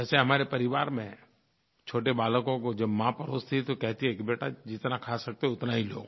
वैसे हमारे परिवार में छोटे बालकों को जब माँ परोसती है तो कहती है कि बेटा जितना खा सकते हो उतना ही लो